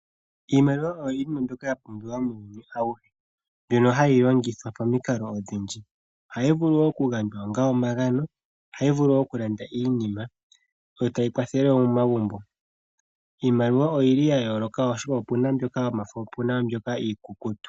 Iimaliwa oya pumbiwa muuyuni awuhe. Ohayi longithwa pamukalo odhindji. Ohayi vulu oku gandjwa onga omagano . Ohayi vulu oku landa iinima yo tayi kwathele woo momagumbo. Iimaliwa oyili ya yooloka oshoka opuna mbyoka yomafo po opuna mbyoka iikuku tu.